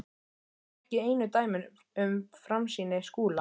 Þetta eru ekki einu dæmin um framsýni Skúla.